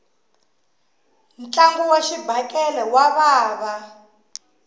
ntlangu wa xibakele wa vava